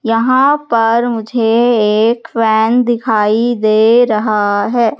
यहां पर मुझे एक वैन दिखाई दे रहा है।